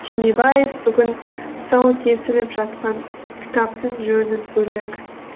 түймебаев бүгін тұсауы кесіліп жатқан кітаптың жөні бөлек